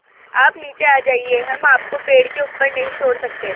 आप नीचे आ जाइये हम आपको पेड़ के ऊपर नहीं छोड़ सकते